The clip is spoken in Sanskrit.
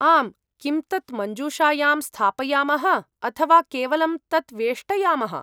आम्, किं तत् मञ्जूषायां स्थापयामः अथ वा केवलं तत् वेष्टयामः?